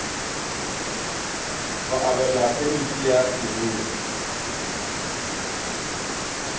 go abelwa phemiti ya leruri